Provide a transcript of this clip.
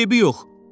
Eybi yox.